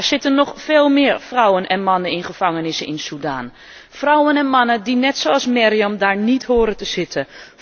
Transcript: Maar er zitten nog veel meer vrouwen en mannen in gevangenissen in Sudan, vrouwen en mannen die net zoals Meriam daar niet horen te zitten.